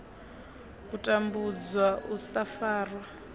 u tambudzwa u sa farwa